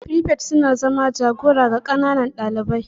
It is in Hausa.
frifets suna zama jagora ga ƙananan ɗalibai.